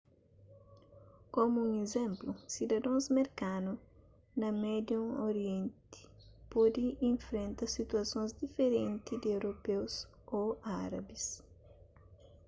komu un izénplu sidadons merkanu na médiu orienti pode infrenta situasons diferenti di europeus ô árabis